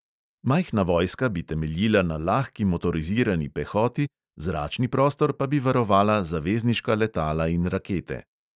Majhna vojska bi temeljila na lahki motorizirani pehoti, zračni prostor pa bi varovala zavezniška letala in rakete.